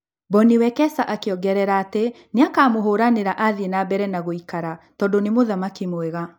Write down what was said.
Bonnie Wekesa akĩongerera atĩ nĩakamũhũranĩra athiĩ na mbere na gũikara tondũ nĩ mũthaki mwega